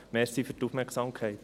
Danke für die Aufmerksamkeit.